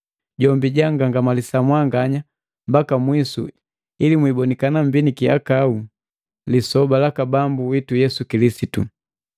Jombi jangangamalisa mwanganya mbaka mwisu ili mwiibonikana mmbi nikihakau lisoba laka Bambu witu Yesu Kilisitu.